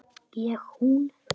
Ég hún.